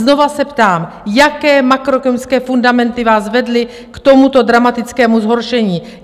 Znovu se ptám, jaké makroekonomické fundamenty vás vedly k tomuto dramatickému zhoršení?